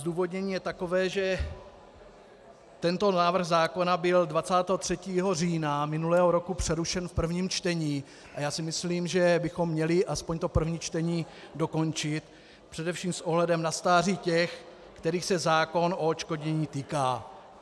Zdůvodnění je takové, že tento návrh zákona byl 23. října minulého roku přerušen v prvním čtení a já si myslím, že bychom měli aspoň to první čtení dokončit především s ohledem na stáří těch, kterých se zákon o odškodnění týká.